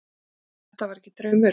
Nei, þetta var ekki draumur.